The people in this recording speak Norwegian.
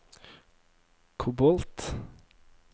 kobolt